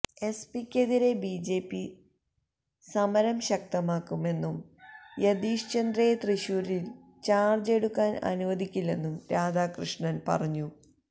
എസ്പിക്കെതിരെ BJP സമരം ശക്തമാക്കുമെന്നും യതീഷ് ചന്ദ്രയെ തൃശൂരില് ചാര്ജ് എടുക്കാന് അനുവദിക്കില്ലെന്നും രാധാകൃഷ്ണന് പറഞ്ഞു